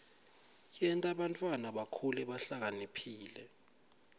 yenta bantfwana bakhule bahlakaniphile